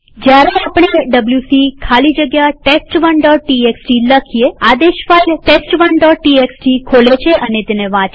જયારે આપણે ડબ્લ્યુસી ખાલી જગ્યા test1ટીએક્સટી લખીએઆદેશ ફાઈલ test1ટીએક્સટી ખોલે છે અને તેને વાંચે છે